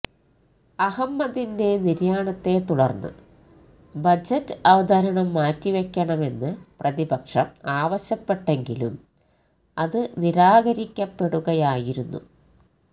അഹമ്മദിന്റെ നിര്യാണത്തെ തുടര്ന്ന് ബജറ്റ് അവതരണം മാറ്റിവയ്ക്കണമെന്ന് പ്രതിപക്ഷം ആവശ്യപ്പെട്ടെങ്കിലും അത് നിരാകരിക്കപ്പെടുകയായിരുന്നു